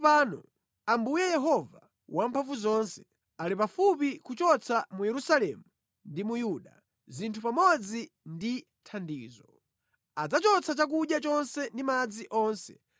Taonani tsopano, Ambuye Yehova Wamphamvuzonse, ali pafupi kuchotsa mu Yerusalemu ndi mu Yuda zinthu pamodzi ndi thandizo; adzachotsa chakudya chonse ndi madzi onse,